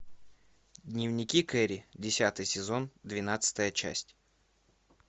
дневники кэрри десятый сезон двенадцатая часть